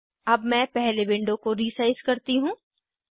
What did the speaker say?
अब मैं पहले विंडो को रीसाइज़ करती हूँ